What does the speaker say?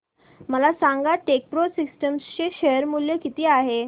मला सांगा Techpro systems चे शेअर मूल्य किती आहे